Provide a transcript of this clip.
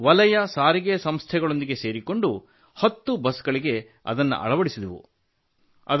ಹಾಗೂ ವಲಯ ಸಾರಿಗೆ ಸಂಸ್ಥೆಗಳೊಂದಿಗೆ ಸೇರಿಕೊಂಡು 10 ಬಸ್ ಗಳಿಗೆ ಅದನ್ನು ಅಳವಡಿಸಿದೆವು